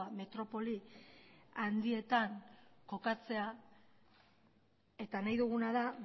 metropoli handietan kokatzea eta nahi duguna da